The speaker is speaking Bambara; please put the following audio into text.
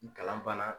Kalan banna